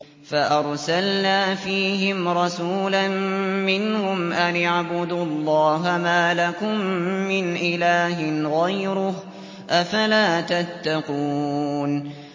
فَأَرْسَلْنَا فِيهِمْ رَسُولًا مِّنْهُمْ أَنِ اعْبُدُوا اللَّهَ مَا لَكُم مِّنْ إِلَٰهٍ غَيْرُهُ ۖ أَفَلَا تَتَّقُونَ